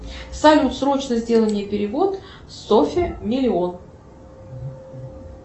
салют срочно сделай мне перевод софе миллион